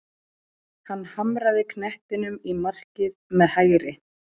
Hann hamraði knettinum í markið með hægri.